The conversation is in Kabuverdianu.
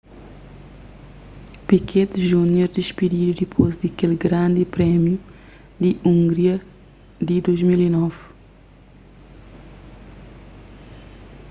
piquet jr dispididu dipôs di kel grandi prémiu di hungria di 2009